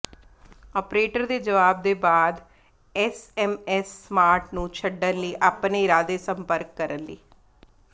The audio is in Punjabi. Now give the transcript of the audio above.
ਆਪਰੇਟਰ ਦੇ ਜਵਾਬ ਦੇ ਬਾਅਦ ਐਸਐਮਐਸ ਸਮਾਰਟ ਨੂੰ ਛੱਡਣ ਲਈ ਆਪਣੇ ਇਰਾਦੇ ਸੰਪਰਕ ਕਰਨ ਲਈ